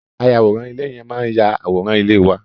Ayàwòrán ilé yẹn máa yà àwòrán ilé wa.